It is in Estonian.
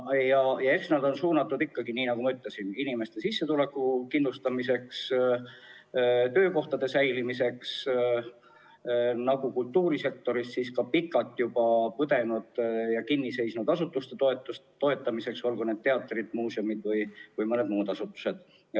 Eks see eelarve on suunatud ikkagi, nagu ma ütlesin, inimeste sissetulekute kindlustamisele, töökohtade säilimisele, kultuurisektoris pikalt juba kinni seisnud asutuste toetamisele, olgu need teatrid, muuseumid või mõni muu asutus.